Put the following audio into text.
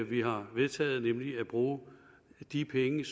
vi har vedtaget nemlig at bruge de penge